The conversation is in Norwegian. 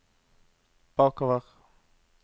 bakover